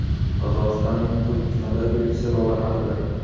Qozog‘istonning O‘zbekistondagi elchisi roli haqida.